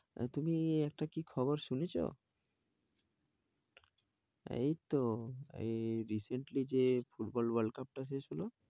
তুমি একটা কি খবর শুনেছো? এই তো এই recently যে football world cup টা শেষ হলো।